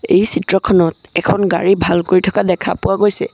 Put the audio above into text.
এই চিত্ৰখনত এখন গাড়ী ভাল কৰি থকা দেখা পোৱা গৈছে।